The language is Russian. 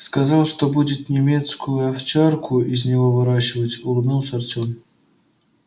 сказал что будет немецкую овчарку из него выращивать улыбнулся артём